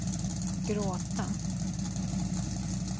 gråta